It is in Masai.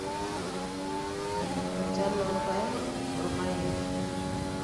Enchan oo irpaek o rpayek.